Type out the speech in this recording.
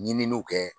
Ɲininiw kɛ